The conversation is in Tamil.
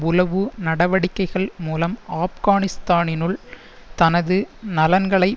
உளவு நடவடிக்கைகள் மூலம் ஆப்கானிஸ்தானினுள் தனது நலன்களை